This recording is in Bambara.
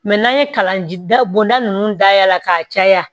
n'an ye kalan da bonda nunnu dayɛlɛ la k'a caya